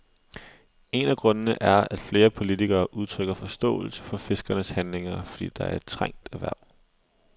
En af grundene er, at flere politikere udtrykker forståelse for fiskernes handlinger, fordi det er et trængt erhverv.